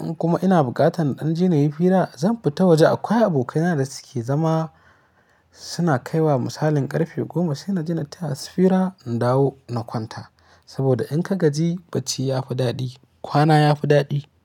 In kuma ina buƙatar ɗan jini yayi fira, zan fita waje. Akwai abokaina da suke zama suna kaiwa misalin ƙarfe goma sai na daina taya su fira, in dawo na kwanta. Saboda in ka gaji bacci ya fi daɗi, kwana ya fi daɗi.